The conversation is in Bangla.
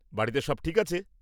বাড়িতে সব ঠিক আছে?